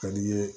Ka di' i ye